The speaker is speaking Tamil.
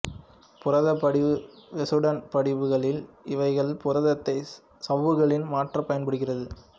புரத படிவு வெசுடன் படிவு க்களில் இவைகள் புரதத்தை சவ்வுகளில் மாற்ற பயன்படுகிறது